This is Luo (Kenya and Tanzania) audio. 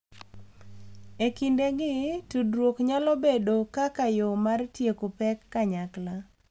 E kindegi, tudruok nyalo bedo kaka yo mar tieko pek kanyakla,